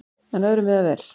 En öðru miðar vel.